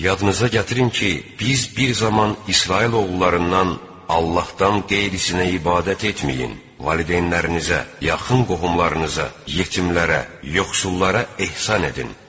Yadınıza gətirin ki, biz bir zaman İsrail oğullarından, Allahdan qeyrisinə ibadət etməyin, valideynlərinizə, yaxın qohumlarınıza, yetimlərə, yoxsullara ehsan edin.